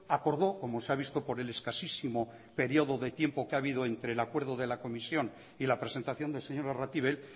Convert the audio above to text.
acordó como se ha visto por el escasísimo período de tiempo que ha habido entre el acuerdo de la comisión y la presentación del señor arratibel